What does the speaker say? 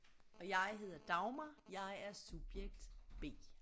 Og jeg hedder Dagmar jeg er subjekt B